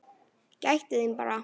Gættu þín bara!